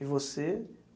E você?